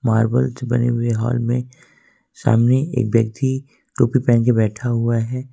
Marvel से बने हुए हॉल में सामने एक व्यक्ति टोपी पहन के बैठा हुआ है।